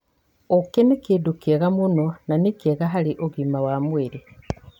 Ũkĩ nĩ kĩndũ kĩega mũno na nĩ kĩega harĩ ũgima wa mwĩrĩ.